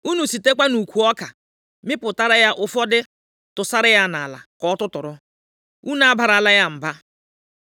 Unu sitekwa nʼukwu ọka mịpụtara ya ụfọdụ tụsara ya nʼala ka ọ tụtụrụ. Unu abarala ya mba.”